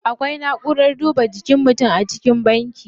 Akwai na'urar duba jikin mutum a cikin banki.